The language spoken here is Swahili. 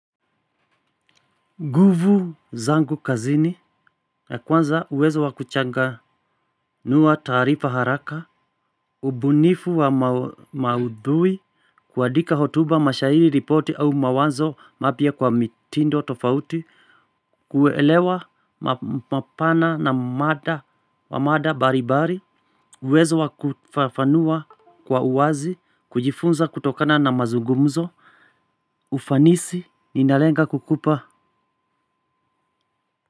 Nguvu zangu kazini ya kwanza uwezo wa kuchanganua taarifa haraka. Ubunifu wa maudhui. Kuandika hotuba mashahiri ripoti au mawazo mapya kwa mitindo tofauti. Kuelewa mapana na mada wa mada mbalimbali. Uwezo wa kufafanua kwa uwazi kujifunza kutokana na mazungumzo. Ufanisi ninalenga kukupa.